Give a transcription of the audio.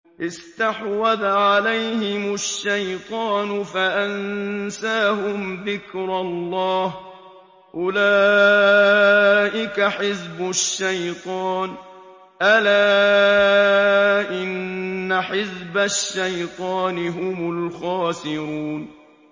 اسْتَحْوَذَ عَلَيْهِمُ الشَّيْطَانُ فَأَنسَاهُمْ ذِكْرَ اللَّهِ ۚ أُولَٰئِكَ حِزْبُ الشَّيْطَانِ ۚ أَلَا إِنَّ حِزْبَ الشَّيْطَانِ هُمُ الْخَاسِرُونَ